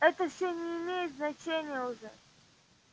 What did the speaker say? это всё не имеет значения уже